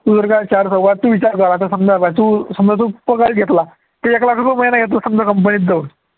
तू विचार कर चार चौघात तू विचार कर आता समजा तू समजा तू पगार घेतला तू एक लाख रुपये महिना घेतला समजा company त जाऊन